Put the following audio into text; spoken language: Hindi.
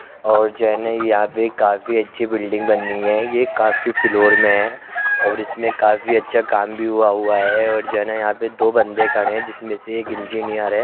और जने यहाँ पर काफी अच्छी बिल्डिंग बनी है। ये काफी फ्लोर में है और इसमें काफी अच्छा काम भी हुआ हुआ है और जाना दो बन्दे खड़े हैं। जिसमे एक इंजीनियर है।